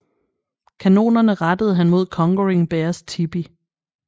Kanonerne rettede han mod Conquering Bears tipi